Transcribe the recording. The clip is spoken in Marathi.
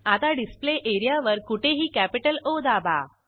आता डिस्प्ले एरियावर कुठेही कॅपिटल ओ दाबा